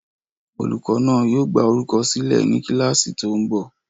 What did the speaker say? Olùkọ́ náà yóò gbá orúkọ sílẹ̀ ní kíláàsì tó ń bọ̀